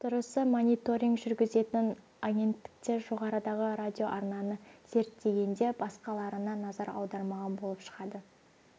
дұрысы мониторинг жүргізетін агенттіктер жоғарыдағы радиоарнаны зерттеген де басқаларына назар аудармаған болып шығады